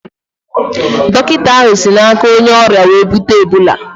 Dọkịta ahụ si na aka onye ọrịa wee bute Ebola